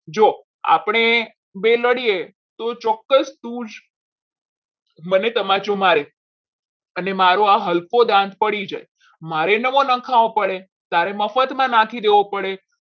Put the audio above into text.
જો આપણે બે લડીએ તો ચોક્કસ તું મને તમાચો મારે અને મારો આ હલકો હાથ પડી જાય મારે નવો નખાવું પડે તારે મફતમાં નાખી દેવો પડે.